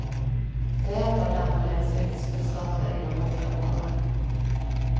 Ta hjälp av dem och deras yrkeskunskaper inom olika områden.